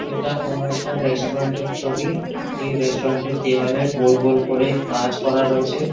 এটা কোনো একটা রেস্ট্রুরেন্ট -এর ছবি যে রেস্ট্রুরেন্ট -এর দেয়ালে গোল গোল করে কাজ করা রয়েছে।